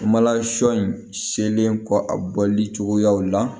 Mala sɔ in selen kɔ a bɔli cogoyaw la